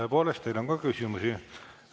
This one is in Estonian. Tõepoolest, teile on ka küsimusi.